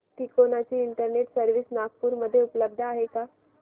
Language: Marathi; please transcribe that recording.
तिकोना ची इंटरनेट सर्व्हिस नागपूर मध्ये उपलब्ध आहे का